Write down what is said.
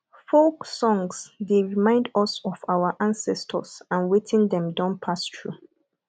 folk songs dey remind us of our ancestors and wetin dem don pass through